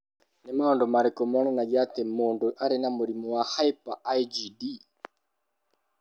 Nĩ maũndũ marĩkũ monanagia atĩ mũndũ arĩ na mũrimũ wa Hyper IgD?